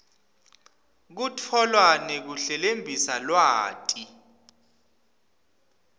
kutfola nekuhlelembisa lwati